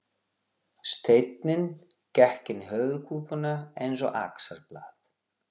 Steinninn gekk inn í höfuðkúpuna eins og axarblað.